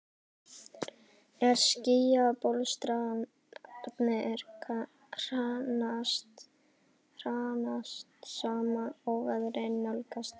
En skýjabólstrarnir hrannast saman, óveðrið nálgast.